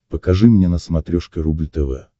покажи мне на смотрешке рубль тв